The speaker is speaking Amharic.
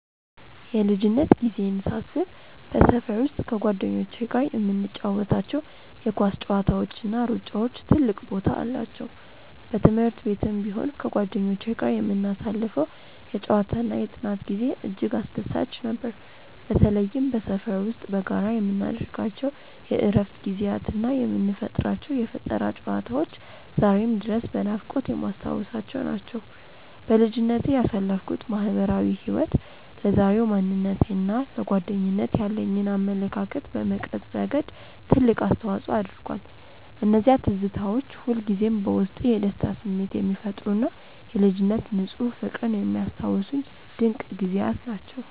የልጅነት ጊዜዬን ሳስብ በሰፈር ውስጥ ከጓደኞቼ ጋር የምንጫወታቸው የኳስ ጨዋታዎችና ሩጫዎች ትልቅ ቦታ አላቸው። በትምህርት ቤትም ቢሆን ከጓደኞቼ ጋር የምናሳልፈው የጨዋታና የጥናት ጊዜ እጅግ አስደሳች ነበር። በተለይም በሰፈር ውስጥ በጋራ የምናደርጋቸው የእረፍት ጊዜያትና የምንፈጥራቸው የፈጠራ ጨዋታዎች ዛሬም ድረስ በናፍቆት የማስታውሳቸው ናቸው። በልጅነቴ ያሳለፍኩት ማህበራዊ ህይወት ለዛሬው ማንነቴና ለጓደኝነት ያለኝን አመለካከት በመቅረጽ ረገድ ትልቅ አስተዋጽኦ አድርጓል። እነዚያ ትዝታዎች ሁልጊዜም በውስጤ የደስታ ስሜት የሚፈጥሩና የልጅነት ንፁህ ፍቅርን የሚያስታውሱኝ ድንቅ ጊዜያት ናቸው።